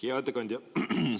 Hea ettekandja!